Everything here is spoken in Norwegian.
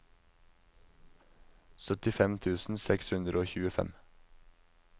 syttifem tusen seks hundre og tjuefem